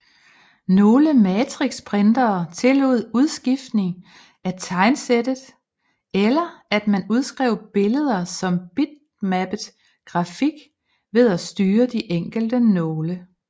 Nogle matrixprintere tillod udskiftning af tegnsættet eller at man udskrev billeder som bitmappet grafik ved at styre de enkelte nåle